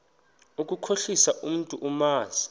ukukhohlisa umntu omazi